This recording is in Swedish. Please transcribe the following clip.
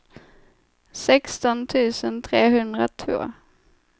sexton tusen trehundratvå